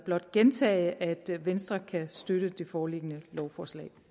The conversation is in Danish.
blot gentage at venstre kan støtte det foreliggende lovforslag